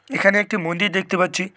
এখানে একটি মন্দির দেখতে পাচ্ছি।